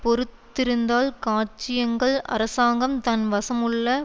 பொருத்திருந்தால் சாட்சியங்கள் அரசாங்கம் தன் வசமுள்ள